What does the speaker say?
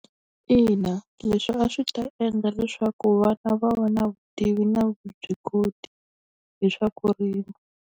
Ina leswi a swi ta endla leswaku vana va va na vutivi na vuswikoti hi swa ku rima.